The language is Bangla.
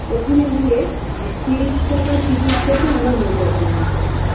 ওখানে গিয়ে তিরিশ টাকার ticket কেটে আমরা নৌকা ভ্রমণ করলাম